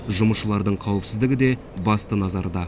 жұмысшылардың қауіпсіздігі де басты назарда